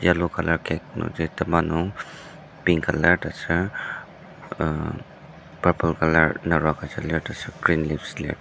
yellow colour cake nungji tema nung pink lir taser uh purple colour naro agüja lir taser green leaves lir.